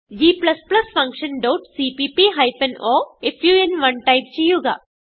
g function dot CPP hyphen o fun type ചെയ്യുക